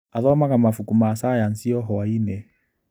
Athomaga mabuku ma cayanici o hwainĩ?